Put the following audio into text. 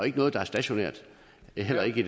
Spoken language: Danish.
ikke noget der er stationært heller ikke